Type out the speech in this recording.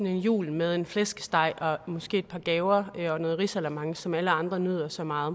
en jul med en flæskesteg og måske et par gaver og noget risalamande som alle andre nyder så meget